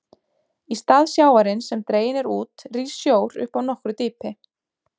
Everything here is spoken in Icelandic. Í stað sjávarins sem dreginn er út rís sjór upp af nokkru dýpi.